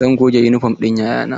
Zan goge yunifom ɗin 'ya'ya na.